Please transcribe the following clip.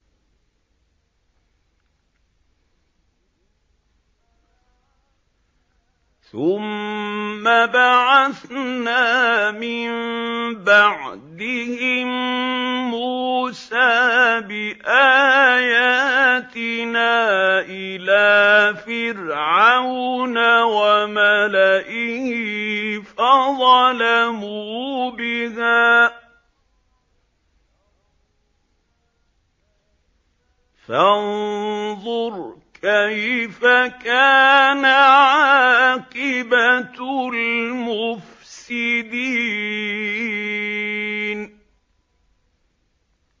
ثُمَّ بَعَثْنَا مِن بَعْدِهِم مُّوسَىٰ بِآيَاتِنَا إِلَىٰ فِرْعَوْنَ وَمَلَئِهِ فَظَلَمُوا بِهَا ۖ فَانظُرْ كَيْفَ كَانَ عَاقِبَةُ الْمُفْسِدِينَ